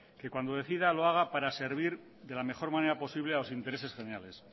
que cuando decida lo haga para servir de la mejor manera posible a los intereses generales